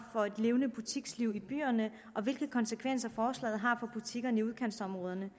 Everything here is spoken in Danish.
for et levende butiksliv i byerne og hvilke konsekvenser forslaget har for butikkerne i udkantsområderne